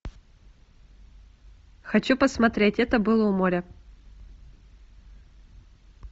хочу посмотреть это было у моря